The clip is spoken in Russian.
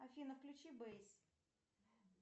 афина включи бейс